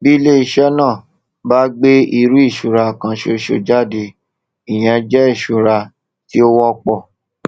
bí iléiṣẹ náà bá gbé irú ìṣura kan ṣoṣo jáde ìyẹn jẹ ìṣura tí ó wọpọ